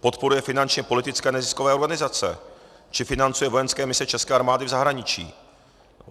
Podporuje finančně politické neziskové organizace či financuje vojenské mise české armády v zahraničí.